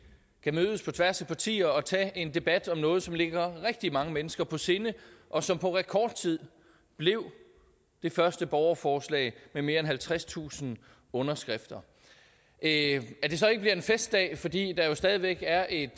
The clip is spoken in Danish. kan mødes på tværs af partier og tage en debat om noget som ligger rigtig mange mennesker på sinde og som på rekordtid blev det første borgerforslag med mere end halvtredstusind underskrifter at det så ikke bliver en festdag fordi der jo stadig væk er et